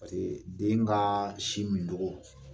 den ka sin mincɔgɔ